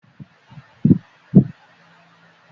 Rárá, obìnrin kò lè jẹ ìmáàmù.